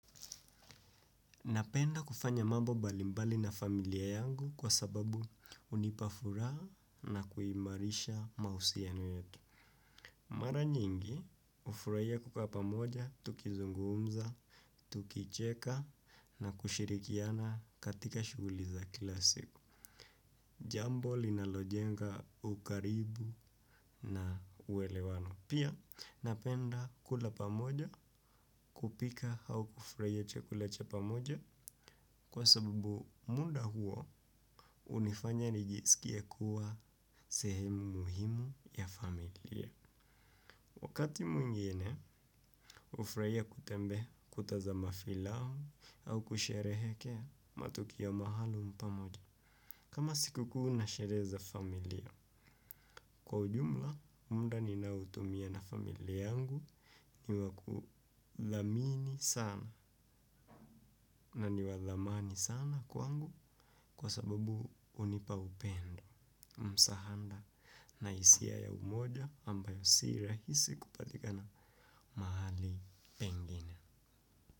Napenda kufanya mambo mbalimbali na familia yangu kwa sababu unipa furaha na kuimarisha mahusiano yetu. Mara nyingi ufuraia kukaa pamoja, tukizungumza, tukicheka na kushirikiana katika shughuli za kila siku. Jambo linalojenga ukaribu na uelewano. Pia napenda kula pamoja kupika au kufraia chakula cha pamoja kwa sababu muda huo unifanya nijisikie kuwa sehemu muhimu ya familia. Wakati mwingine ufraia kutembe kutazama filamu au kusherehekea matukio mahalum pamoja. Kama sikukuu na sherehe za familia, kwa ujumla, mda ninaoutumia na familia yangu ni wa kuthamini sana na ni wa thamani sana kwangu kwa sababu unipa upendo, msahanda na isia ya umoja ambayo si rahisi kupatikana mahali pengine.